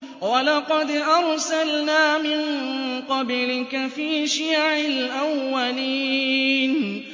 وَلَقَدْ أَرْسَلْنَا مِن قَبْلِكَ فِي شِيَعِ الْأَوَّلِينَ